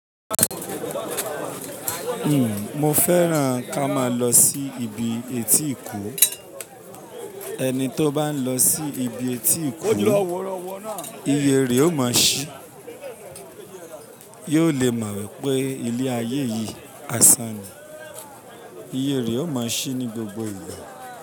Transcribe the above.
Mo fẹ́ràn ká má lọ sí ibi etí ìkó, ẹni tó bá lọ sí ibi etí ìkó iyèré ó máa ṣí, yóò lè mọ̀ wípé ilé ayé yìí a san ni, iyèré ó máa ṣí ní gbogbo ìgbà.